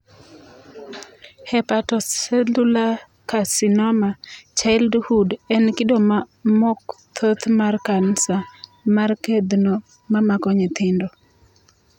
Hepatocellular carcinoma, childhood en kido mok thoth mar kansa mar kedhno mamako nyithindo